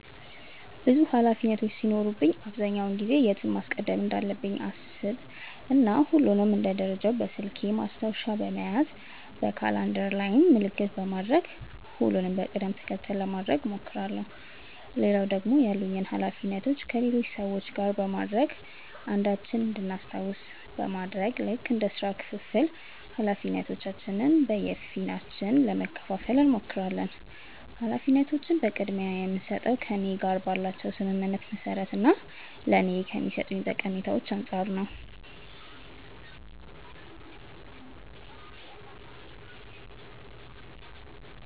ብዙ ኃላፊነቶች ሲኖሩብኝ አብዛኛውን ጊዜ የቱን ማስቀደም እንዳለብኝ አሰብ እና ሁሉንም እንደ ደረጃቸው በስልኬ ማስታወሻ በመያዝ በካላንደር ላይም ምልክት በማድረግ ሁሉንም በቅድም ተከተል ለማድረግ እሞክራለው። ሌላው ደግሞ ያሉኝን ኃላፊነቶች ከሌሎች ሰዎች ጋር በማድረግ አንዳችን እንድናስታውስ በማድረግ ልክ እንደ ስራ ክፍፍል ኃላፊነቶችን በየፊናችን ለመከፈፋል እንሞክራለን። ኃላፊነቶችን ቅድምያ የምስጠው ከእኔ ጋር ባላቸው ስምምነት መሰረት እና ለኔ ከሚሰጡኝ ጠቀሜታ አንፃር ነው።